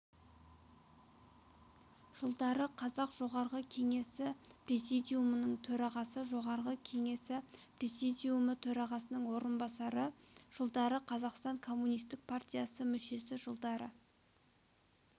жылдары қазақ жоғарғы кеңесі президиумыныңтөрағасы жоғарғы кеңесі президиумы төрағасының орынбасары жылдары қазақстан коммунистік партиясы мүшесі жылдары